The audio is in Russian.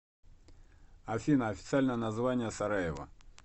афина официальное название сараево